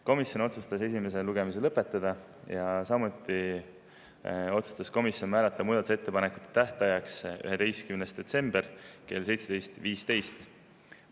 Komisjon otsustas esimene lugemine lõpetada, samuti määrata muudatusettepanekute tähtajaks 11. detsembri kell 17.15.